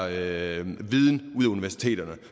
af universiteterne